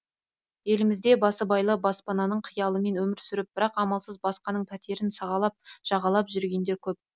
елімізде басыбайлы баспананың қиялымен өмір сүріп бірақ амалсыз басқаның пәтерін сағалап жағалап жүргендер көп